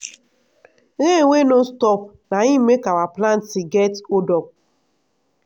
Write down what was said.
rain wey no stop na im make our planting get holdup.